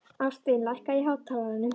Ástvin, lækkaðu í hátalaranum.